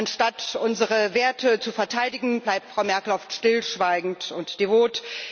Anstatt unsere Werte zu verteidigen, bleibt Frau Merkel oft stillschweigend und devot.